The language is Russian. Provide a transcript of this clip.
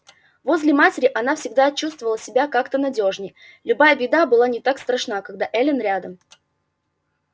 возле матери она всегда чувствовала себя как-то надёжней любая беда была не так страшна когда эллин рядом